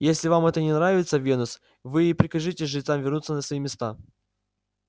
если вам это не нравится венус вы и прикажите жрецам вернуться на свои места